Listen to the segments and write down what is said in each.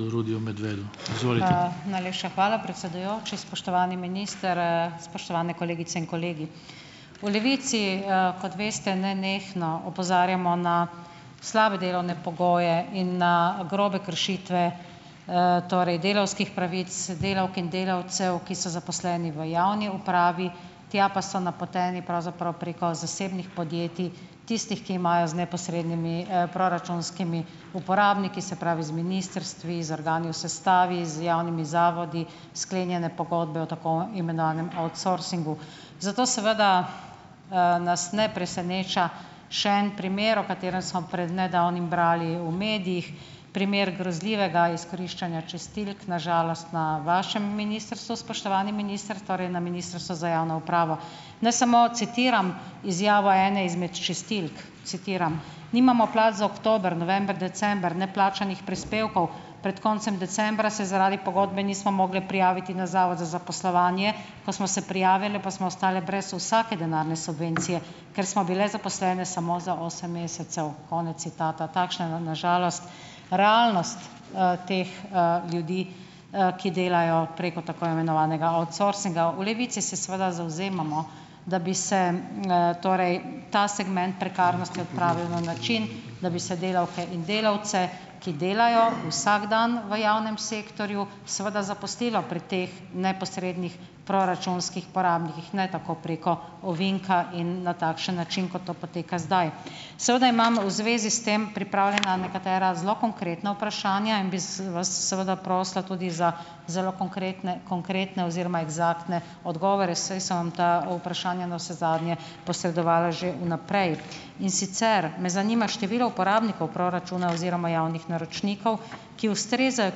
Najlepša hvala, predsedujoči. Spoštovani minister, spoštovane kolegice in kolegi! V Levici, kot veste, nenehno opozarjamo na slabe delovne pogoje in na grobe kršitve, torej delavskih pravic delavk in delavcev, ki so zaposleni v javni upravi, tja pa so napoteni pravzaprav preko zasebnih podjetij, tistih, ki imajo z neposrednimi, proračunskimi uporabniki, se pravi z ministrstvi, z organi v sestavi, z javnimi zavodi, sklenjene pogodbe o tako imenovanem outsourcingu. Zato seveda, nas ne preseneča še en primer, o katerem smo pred nedavnim brali v medijih. Primer grozljivega izkoriščanja čistilk, na žalost na vašem ministrstvu, spoštovani minister, torej na Ministrstvu za javno upravo. Naj samo citiram izjavo ene izmed čistilk, citiram: "Nimamo plač za oktober, november, december, ne plačanih prispevkov. Pred koncem decembra se zaradi pogodbe nismo mogli prijaviti na Zavod za zaposlovanje, ko smo se prijavile, pa smo ostale brez vsake denarne subvencije, ker smo bile zaposlene samo za osem mesecev." Konec citata. Takšna je na, na žalost realnost, teh, ljudi, ki delajo preko tako imenovanega outsourcinga. V Levici se seveda zavzemamo, da bi se, torej ta segment prekarnosti odpravil na način, da bi se delavke in delavce, ki delajo vsak dan v javnem sektorju seveda zaposlilo pri teh neposrednih proračunskih porabnikih, ne tako preko ovinka in na takšen način, kot to poteka zdaj. Seveda imamo v zvezi s tem pripravljena nekatera zelo konkretna vprašanja in bi s vas seveda prosila tudi za zelo konkrekne, konkretne oziroma eksaktne odgovore, saj sem vam ta vprašanja navsezadnje posredovala že vnaprej. In sicer me zanima število uporabnikov proračuna oziroma javnih naročnikov, ki ustrezajo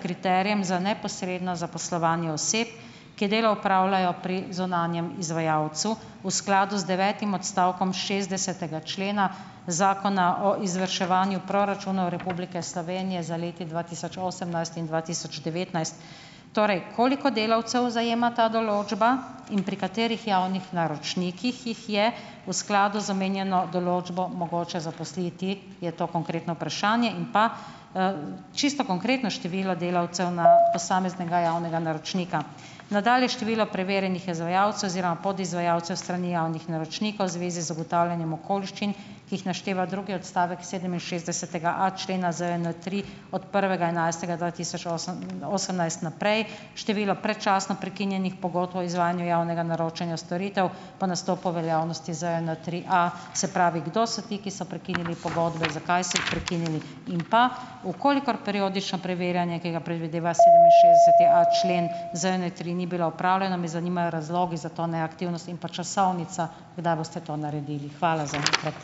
kriterijem za neposredno zaposlovanje oseb, ki delo opravljajo pri zunanjem izvajalcu v skladu z devetim odstavkom šestdesetega člena zakona o izvrševanju proračunov Republike Slovenije za leti dva tisoč osemnajst in dva tisoč devetnajst. Torej, koliko delavcev zajema ta določba in pri katerih javnih naročnikih jih je v skladu z omenjeno določbo mogoče zaposliti, je to konkretno vprašanje. In pa, čisto konkretno število delavcev na posameznega javnega naročnika, nadalje število preverjenih izvajalcev oziroma podizvajalcev strani javnih naročnikov v zvezi z ugotavljanjem okoliščin, ki jih našteva drugi odstavek sedeminšestdesetega a člena ZJN tri od prvega enajstega dva tisoč osem, osemnajst naprej, število predčasno prekinjenih pogodb o izvajanju javnega naročanja storitev po nastopu veljavnosti ZJN tri A. Se pravi, kdo so ti, ki so prekinili pogodbe, zakaj so jih prekinili in pa: v kolikor periodično preverjanje, ki ga predvideva sedeminšestdeseti a člen ZJN tri, ni bila opravljeno, me zanimajo razlogi za to neaktivnost in pa časovnica, kdaj boste to naredili. Hvala zaenkrat.